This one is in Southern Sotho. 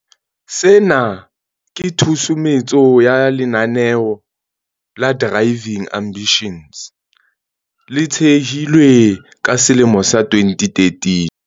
Sena ke tshusumetso ya lenaneo la Driving Ambitions, le thehilweng ka selemo sa 2013.